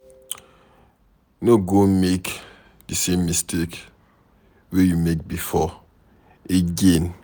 No go make di same mistake wey you make before again